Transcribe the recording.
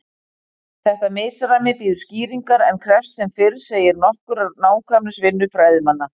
Þetta misræmi bíður skýringar en krefst sem fyrr segir nokkurrar nákvæmnisvinnu fræðimanna.